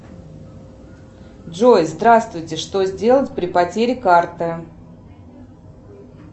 джой здравствуйте что сделать при потере карты